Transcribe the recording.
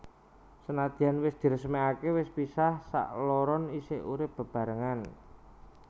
Senajan wis diresmèkaké wis pisah sakloron isih urip bebarengan